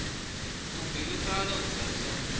u bilufhala u ḓo sa